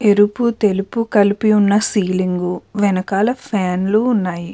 ఎరుపు తెలుపు కలిపి ఉన్న సీలింగ్ వెనకాల ఫ్యాన్ లు ఉన్నాయి.